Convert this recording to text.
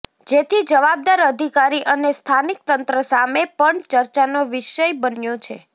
જેથી જવાબદાર અધિકારી અને સ્થાનિક તંત્ર સામે પણ ચર્ચાનો વિષય બન્યો છે